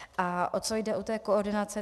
A o co jde u té koordinace?